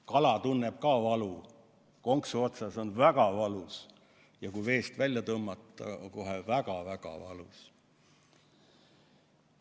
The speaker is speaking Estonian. Kala tunneb ka valu, konksu otsas on väga valus ja kui veest välja tõmmata, on kohe väga-väga valus.